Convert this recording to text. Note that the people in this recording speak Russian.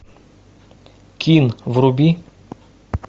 кинг вруби